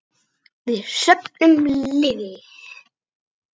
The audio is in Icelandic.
Við söfnum liði.